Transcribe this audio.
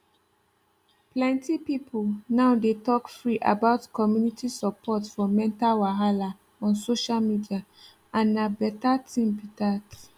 plenty people now dey talk free about community support for mental wahala on social media and na better thing be that